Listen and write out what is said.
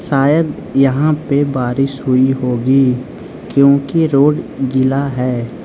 शायद यहां पे बारिश हुई होगी क्योंकि रोड गीला है।